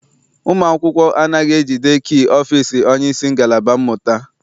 Ụmụ akwụkwọ anaghị ejide kii ọfịịsi onyeisi ngalaba mmụta.